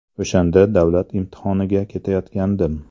O‘shanda davlat imtihoniga ketayotgandim.